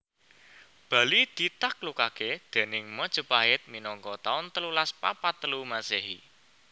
Bali ditaklukake déning Majapahit minangka taun telulas papat telu Masehi